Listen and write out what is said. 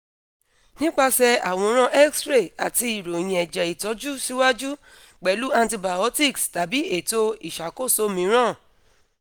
nipase aworan x ray ati iroyin eje itoju si waju pelu antibiotics tabi eto isakoso miiran